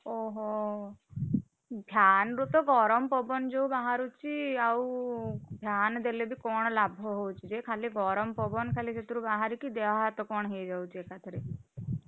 ଓହୋ fan ରୁ ତ ଗରମ ପବନ ଯୋଉ ବାହାରୁଛି ଆଉ fan ଦେଲେବି କଣ ଲାଭ ହଉଛି ଯେ ଖାଲି ଗରମ ପବନ ଖାଲି ସେଥିରୁ ବାହାରିକି ଦେହ ହାତ କଣ ହେଇଯାଉଛି ଏକାଥରେକେ।